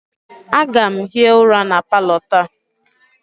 Aga m hie ụra na palọ taa